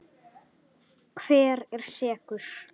Hver er sekur?